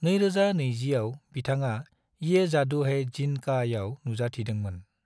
2020 आव बिथाङा ये जादू है जिन्न काआव नुजाथिदोंमोन।